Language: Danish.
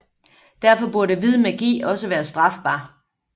Derfor burde hvid magi også være strafbar